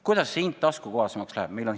Kuidas see hind taskukohasemaks läheb?